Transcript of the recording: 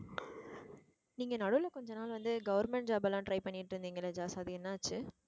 நீங்க நடுவுல கொஞ்ச நாள் வந்து எல்லாம் try பண்ணிட்டு இருந்தீங்கல்ல ஜாஸ் என்ன ஆச்சு